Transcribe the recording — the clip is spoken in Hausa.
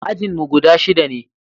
ajinmu guda shida ne